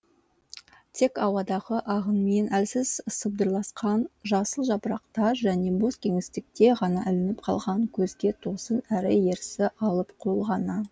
тек ауадағы ағынмен әлсіз сыбдырласқан жасыл жапырақтар және бос кеңістікке ғана ілініп қалған көзге тосын әрі ерсі алып қол ғана